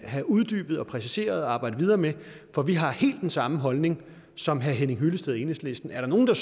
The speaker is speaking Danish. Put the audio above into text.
have uddybet og præciseret og arbejdet videre med for vi har helt den samme holdning som herre henning hyllested og enhedslisten er der nogen der